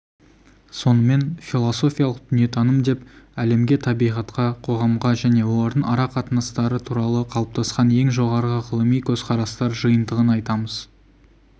сонымен философиялық дүниетаным деп әлемге табиғатқа қоғамға және олардың ара-қатынастары туралы қалыптасқан ең жоғарғы ғылыми көзқарастар жиынтығын айтамыз